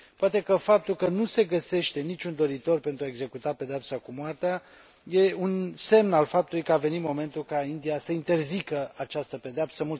Poate că faptul că nu se găsește niciun doritor pentru a executa pedeapsa cu moartea e un semn al faptului că a venit momentul ca India să interzică această pedeapsă.